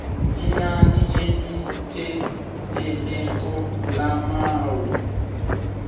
inani elipheleleko lamaawa